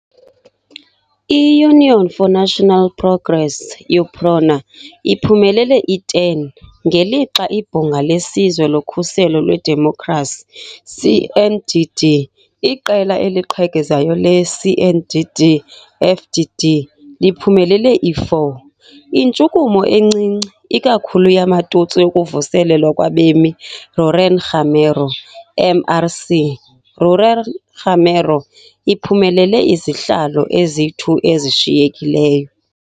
I-Union for National Progress, UPRONA, iphumelele i-10, ngelixa iBhunga leSizwe loKhuselo lweDemokhrasi, CNDD, iqela eliqhekezayo le-CNDD-FDD, liphumelele i-4. Intshukumo encinci, ikakhulu yamaTutsi yokuVuselelwa kwabemi-Rurenngamero, MRC. Rurenngamero, iphumelele izihlalo ezi-2 ezishiyekileyo.